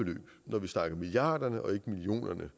så videre nogle ret